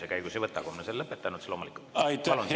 Kui me oleme selle lõpetanud, siis loomulikult.